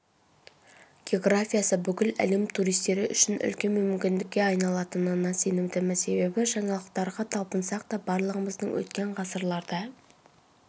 географиясы бүкіл әлем туристері үшін үлкен мүмкіндікке айналатынына сенімдімін себебі жаңалықтарғаталпынсақ та барлығымыздың өткен ғасырларда